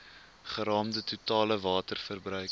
geraamde totale waterverbruik